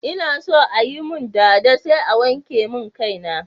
Ina so ayi mun dada sai a wanke mun kai na